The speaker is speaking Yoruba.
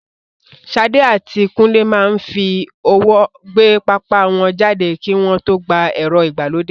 Sade àti Kunle máa ń fi ọwọ́ gbé pápá wọn jáde kí wọ́n tó gba ẹ̀rọ ìgbàlódé.